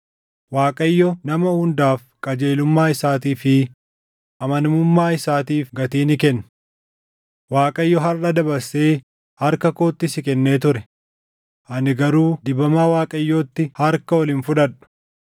Waaqayyo nama hundaaf qajeelummaa isaatii fi amanamummaa isaatiif gatii ni kenna. Waaqayyo harʼa dabarsee harka kootti si kennee ture; ani garuu dibamaa Waaqayyootti harka ol hin fudhadhu.